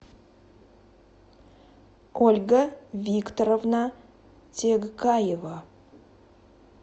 ольга викторовна тегкаева